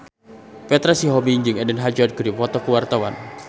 Petra Sihombing jeung Eden Hazard keur dipoto ku wartawan